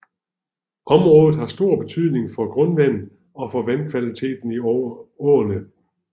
Området har stor betydning for grundvandet og for vandkvaliteten i åerne